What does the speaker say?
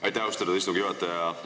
Aitäh, austatud istungi juhataja!